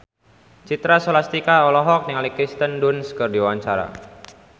Citra Scholastika olohok ningali Kirsten Dunst keur diwawancara